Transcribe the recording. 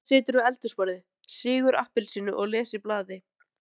Edda situr við eldhúsborðið, sýgur appelsínu og les í blaði.